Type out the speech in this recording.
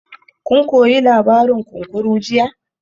Kun koyi labarin kunkuru jiya?